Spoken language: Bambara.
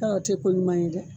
o tɛ ko ɲuman ye dɛ.